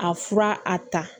A fura a ta